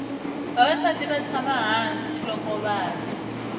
vavasati vatsama hhasi lokuvaja